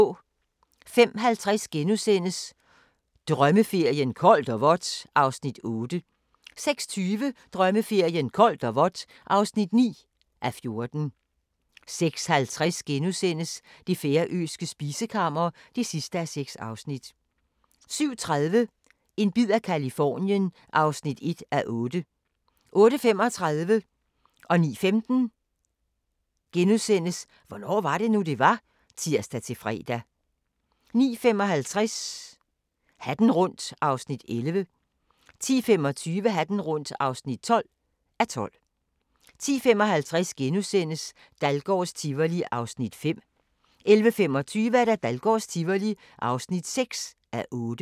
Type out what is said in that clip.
05:50: Drømmeferien: Koldt og vådt (8:14)* 06:20: Drømmeferien: Koldt og vådt (9:14) 06:50: Det færøske spisekammer (6:6)* 07:30: En bid af Californien (1:8) 08:35: Hvornår var det nu, det var? *(tir-fre) 09:15: Hvornår var det nu, det var? (tir-fre) 09:55: Hatten rundt (11:12) 10:25: Hatten rundt (12:12) 10:55: Dahlgårds Tivoli (5:8)* 11:25: Dahlgårds Tivoli (6:8)